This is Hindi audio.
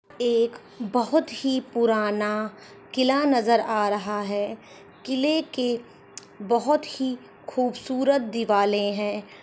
एक बहुत ही पुराना किला नज़र आ रहा है किले के बहुत ही खूबसूरत दिवाले है।